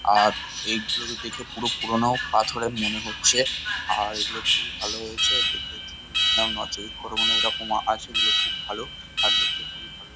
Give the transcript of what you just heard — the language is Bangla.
আর এগুলোকে দেখে পুরো পুরনো পাথরের মনে হচ্ছে। আর এগুলো খুবই ভালো হয়েছে দেখে নর্থ চব্বিশ পরগনায় এরকম আছে এগুলো খুব ভাল। আর দেখতেও খুবই ভালো।